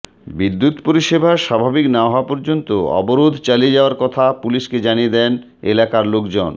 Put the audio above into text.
বিদ্যুৎ পরিষেবা স্বাভাবিক না হওয়া পর্যন্ত অবরোধ চালিয়ে যাওয়ার কথা পুলিশকে জানিয়ে দেন এলাকার লোকজন